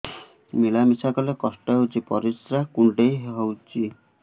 ମିଳା ମିଶା କଲେ କଷ୍ଟ ହେଉଚି ପରିସ୍ରା କୁଣ୍ଡେଇ ହଉଚି